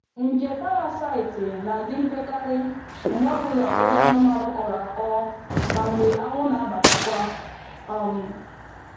Nje parasaịtị na-adị mpekarị mgbe ọ bụla ụlọ anụmanụ kọọrọ akọ ma mgbe anwụ na-abatakwa. um